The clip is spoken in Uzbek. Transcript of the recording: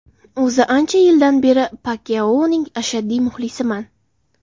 O‘zi ancha yildan beri Pakyaoning ashaddiy muxlisiman.